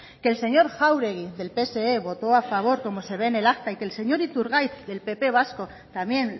que el señor jáuregui del pse votó a favor como se ve en el acta y que el señor iturgaiz del pp vasco también